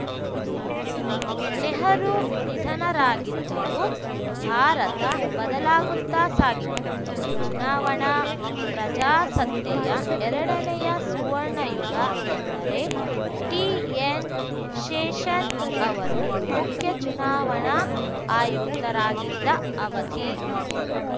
ನೆಹರು ನಿಧನರಾಗಿದ್ದರು ಭಾರತ ಬದಲಾಗುತ್ತ ಸಾಗಿತು ಚುನಾವಣಾ ಪ್ರಜಾಸತ್ತೆಯ ಎರಡನೆಯ ಸುವರ್ಣಯುಗ ಎಂದರೆ ಟಿಎನ್‌ಶೇಷನ್‌ ಅವರು ಮುಖ್ಯ ಚುನಾವಣಾ ಆಯುಕ್ತರಾಗಿದ್ದ ಅವಧಿ